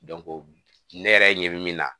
ne yɛrɛ ɲɛ bi min na